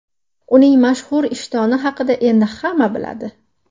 Uning mashhur ishtoni haqida endi hamma biladi.